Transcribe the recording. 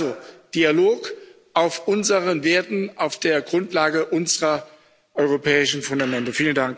Also Dialog auf unseren Werten, auf der Grundlage unserer europäischen Fundamente.